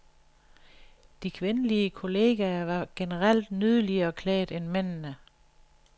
De kvindelige kollegaer var generelt nydeligere klædt end mændene.